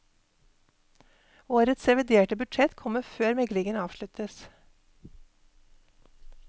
Årets reviderte budsjett kommer før meglingen avsluttes.